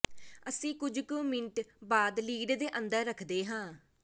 ਅਸੀਂ ਕੁਝ ਕੁ ਮਿੰਟ ਬੰਦ ਲਿਡ ਦੇ ਅੰਦਰ ਰੱਖਦੇ ਹਾਂ